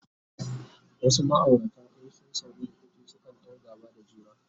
wasu maaurata in sun samu rikici sukan ɗau gaba da juna